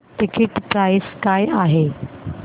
ticket price काय आहे